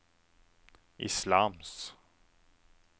islams